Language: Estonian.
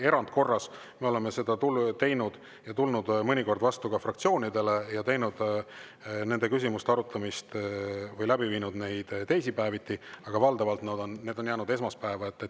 Erandkorras me oleme tulnud mõnikord vastu ka fraktsioonidele ja arutanud neid küsimusi teisipäeviti, aga valdavalt on need jäänud esmaspäeva.